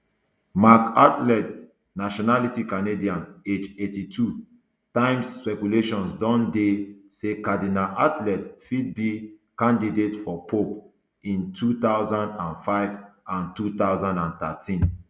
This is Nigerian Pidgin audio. marc ouellet nationality canadian age eighty two times speculations don dey say cardinal ouellet fit be candidate for pope in two thousand and five and two thousand and thirteen